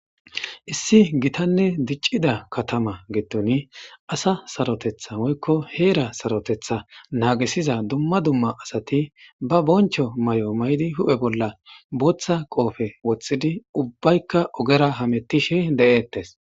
Issi gitanne diccida katama gettoni asa sarotetha woykko heera sarotetha naagisiza dumma dumma asati ba boncho may7o maydi hu7he bolla booththa qoofe woththidi ubbaykka ogera hamettishe de7eettes.